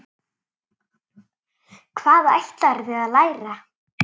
Hvað ætlarðu að læra?